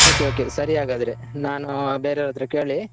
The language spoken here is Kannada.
Okay okay . ಸರಿ ಆಗದ್ರೆ ನಾನು ಬೇರೆಯವರತ್ರ ಕೇಳಿ